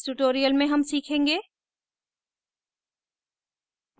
इस tutorial में हम सीखेंगे